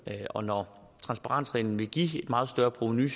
og når transparensreglen ville give et meget større provenu